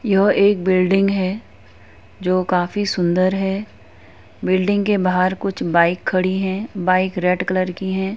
यह एक बिल्डिंग हैं। जो काफी सुंदर है। बिल्डिंग के बाहर कुछ बाइक खड़ी हैं बाइक रेड कलर की हैं |